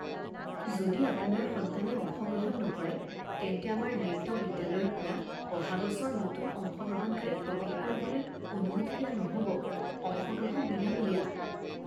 যদি আপোনাৰ সন্তানে অংশগ্ৰহণ নকৰে, তেন্তে আমাৰ নৃত্য বিদ্যালয়ৰ পৰা অহা বছৰ নতুন অংশগ্ৰহণকাৰীক প্ৰৱেশ কৰিবলৈ অনুমতি দিয়া নহ'ব। অংশগ্ৰহণ বিনামূলীয়া।